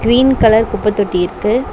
Green colour குப்ப தொட்டி இருக்கு.